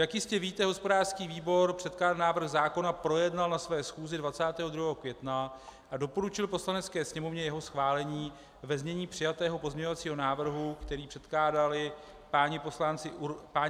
Jak jistě víte, hospodářský výbor předkládaný návrh zákona projednal na své schůzi 22. května a doporučil Poslanecké sněmovně jeho schválení ve znění přijatého pozměňovacího návrhu, který předkládali páni poslanci Urban a Birke.